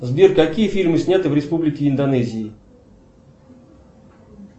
сбер какие фильмы сняты в республике индонезии